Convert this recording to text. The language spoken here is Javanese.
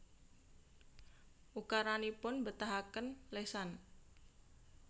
Ukaranipun mbetahaken lesan